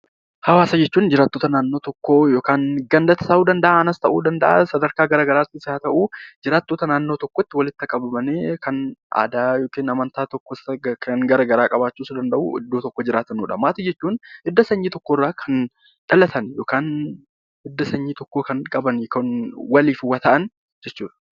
Hawaasa jechuun jiraattota naannoo tokkoo yookaan gandas ta'uu danda'aa, aanaas ta'uu danda'aa, sadarkaa gara garaa tis haa ta'uu jiraattota naannoo tokkotti walitti qabamanii kan aadaa yookiin amantaa tokkos, kan gara garaas qabaachuu danda'uu iddoo tokko jiraatanu dha. Maatii jechuun hidda sanyii tokko irraa kan dhalatan yookaan hidda sanyii tokko kan qaban, kan waliif waa ta'an jechuu dha.